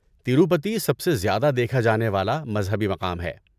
تروپتی سب سے زیادہ دیکھا جانے والا مذہبی مقام ہے۔